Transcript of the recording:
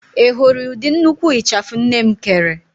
Ị hụrụ ụdị nnukwu ịchafụ nne m kere?